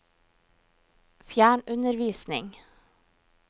fjernundervisning